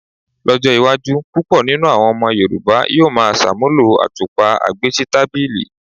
Ló̩jó̩ iwájú púpò̩ nínú àwo̩n o̩mo̩ Yorùbá yóò máa s̩àmúlò àtúpà agbésítàbìlì.